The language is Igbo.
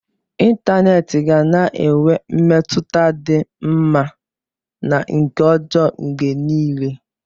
Ịntanetị ga na-enwe mmetụta dị mma na nke ọjọọ mgbe niile